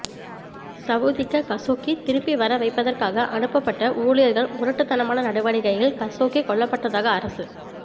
சவுதிக்க Khashoggi திருப்பி வர வைப்பதற்காக அனுப்பப்பட்ட ஊழியர்கள் முரட்டுத்தனமான நடவடிக்கையில் கஷோக்கி கொல்லப்பட்டதாக அரசு